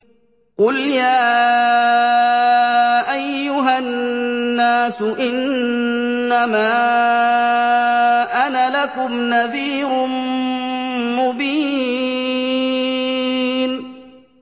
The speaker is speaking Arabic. قُلْ يَا أَيُّهَا النَّاسُ إِنَّمَا أَنَا لَكُمْ نَذِيرٌ مُّبِينٌ